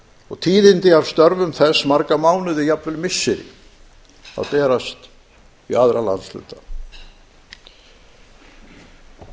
og tíðindi af störfum þess marga mánuði jafnvel missiri að berast í aðra